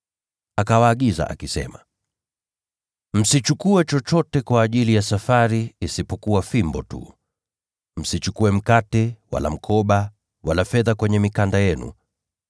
Akawaagiza akisema, “Msichukue chochote kwa ajili ya safari isipokuwa fimbo tu. Msichukue mkate, wala mkoba, wala fedha kwenye mikanda yenu.